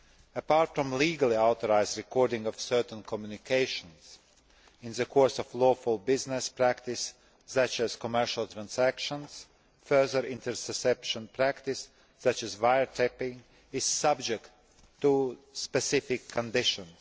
Apart from the legally authorised recording of certain communications in the course of lawful business practice such as commercial transactions, further interception practice, such as wiretapping, is subject to specific conditions.